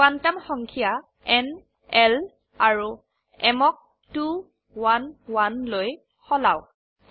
quantum সংখ্যা ন l আৰু m ক 2 1 1 লৈ সলাওক